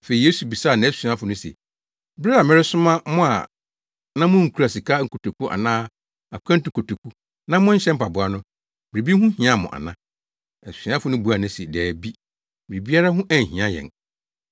Afei Yesu bisaa nʼasuafo no se, “Bere a mesomaa mo a na munkura sika nkotoku anaa akwantu kotoku na monhyɛ mpaboa no, biribi ho hiaa mo ana?” Asuafo no buaa no se, “Dabi, biribiara ho anhia yɛn.”